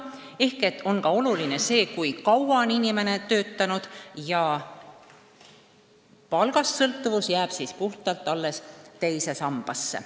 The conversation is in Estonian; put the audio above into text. Seega on oluline ka see, kui kaua on inimene töötanud, palgast sõltuvus jääb puhtalt alles teise sambasse.